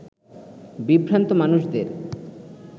বিভ্রান্ত মানুষদের